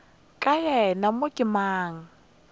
ka yena mo ke mang